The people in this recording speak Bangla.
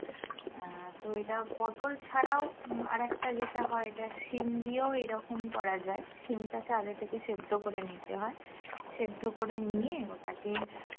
আহ তো এটা পটোল ছাড়াও আর একটা যেটা হয়ে এটা সিম দিয়েও এরকম করা যায় সিম টাকে আগেই থেকে সেদ্ধ করে নিতে হয় সেদ্ধ করে নিয়ে ওটাকে